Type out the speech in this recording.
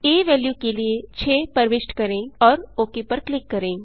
आ value के लिए 6 प्रविष्ट करें और ओक पर क्लिक करें